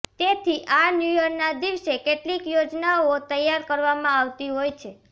તેથી આ ન્યૂયરના દિવસે કેટલીક યોજનાઓ તૈયાર કરવામાં આવતી હોય છે